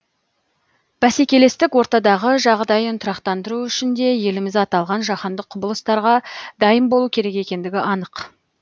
бәсекелестік ортадағы жағдайын тұрақтандыру үшін де еліміз аталған жаһандық құбылыстарға дайын болу керек екендігі анық